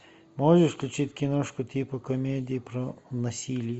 можешь включить киношку типа комедии про насилие